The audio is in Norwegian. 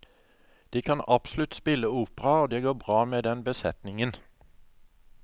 De kan absolutt spille opera, og det går bra med den besetningen.